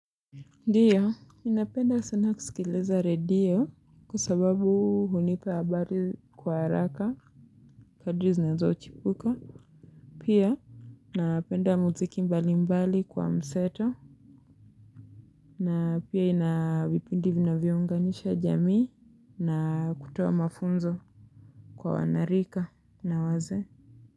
Ndio ninapenda sana kusikiliza redio kwa sababu hunipa habari kwa haraka kadri zinanzo chipuka pia napenda muziki mbali mbali kwa mseto na pia ina vipindi vinavyounganisha jamii na kutoa mafunzo kwa wanarika na wazee Muzika.